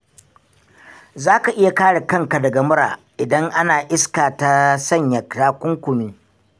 Zaka iya kare kanka daga mura idan ana iska ta sanya takunkumi.